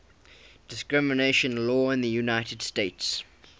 discrimination law in the united states